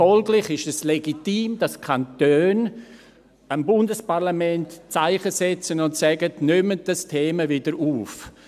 Folglich ist es legitim, dass die Kantone gegenüber dem Bundesparlament Zeichen setzen und sagen: «Nehmen Sie dieses Thema wieder auf.